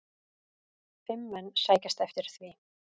Fimm menn sækjast eftir því.